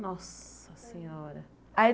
Nossa Senhora! Aí